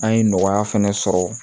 An ye nɔgɔya fana sɔrɔ